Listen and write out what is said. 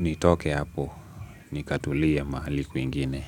nitoke hapo ni katulia mahali kwingine.